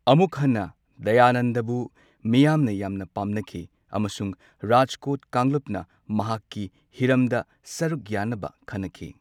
ꯑꯃꯨꯛ ꯍꯟꯅ ꯗꯌꯥꯅꯟꯗꯕꯨ ꯃꯤꯌꯥꯝꯅ ꯌꯥꯝꯅ ꯄꯥꯝꯅꯈꯤ꯫ ꯑꯃꯁꯨꯡ ꯔꯥꯖꯀꯣꯠ ꯀꯥꯡꯂꯨꯞꯅ ꯃꯍꯥꯛꯀꯤ ꯍꯤꯔꯝꯗ ꯁꯔꯨꯛ ꯌꯥꯅꯕ ꯈꯟꯅꯈꯤ꯫